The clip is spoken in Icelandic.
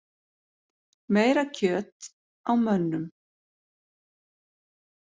Meira kjöt á mönnum